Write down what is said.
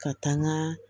Ka taa n ka